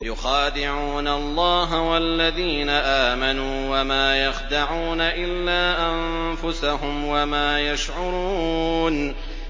يُخَادِعُونَ اللَّهَ وَالَّذِينَ آمَنُوا وَمَا يَخْدَعُونَ إِلَّا أَنفُسَهُمْ وَمَا يَشْعُرُونَ